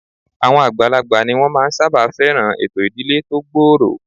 Àwọn àgbàlagbà ni wọ́n máa ń sábà fẹ́ràn ètò ìdílé tó gbòòrò